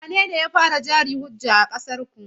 Wanene ya fara jari-hujja a ƙasarku?